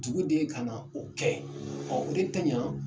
Duguden ka na, o kɛ, o de tɛ ɲa